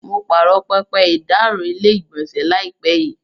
Mo pààrọ̀ pẹpẹ ìdáàrọ̀ ilé-ìgbọ̀nsẹ̀ láìpẹ́ yìí.